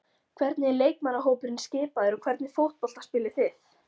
Hvernig er leikmannahópurinn skipaður og hvernig fótbolta spilið þið?